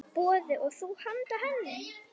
Boði: Og þú handa henni?